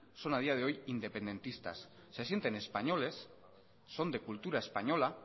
son a día de hoy independentistas se sienten españoles son de cultura española